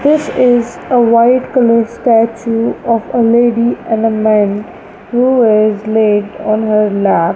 this is a white colour statue of a lady and a man who was led on her lab.